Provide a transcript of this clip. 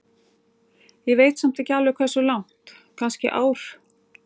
Ég veit samt ekki alveg hversu langt, kannski ár?